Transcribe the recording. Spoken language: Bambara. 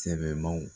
Sɛbɛmanw